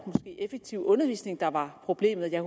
effektive undervisning der var problemet jeg